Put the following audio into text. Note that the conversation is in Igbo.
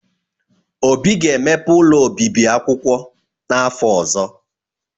Obi ga-emepe ụlọ obibi akwụkwọ n’afọ ọzọ.